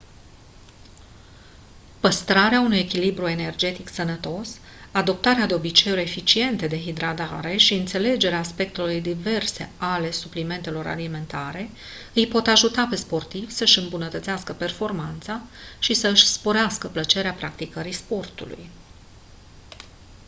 păstrarea unui echilibru energetic sănătos adoptarea de obiceiuri eficiente de hidratare și înțelegerea aspectelor diverse ale suplimentelor alimentare îi pot ajuta pe sportivi să-și îmbunătățească performanța și să-și sporească plăcerea practicării sportului